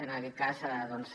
en aquest cas doncs